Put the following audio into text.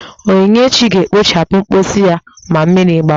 Onyinyechi ga-ekpochapụ mposi ya ma mmiri gbawa!